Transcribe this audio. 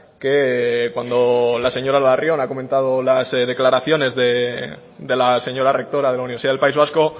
que cuando la señora larrion ha comentado las declaraciones de la señora rectora de la universidad del país vasco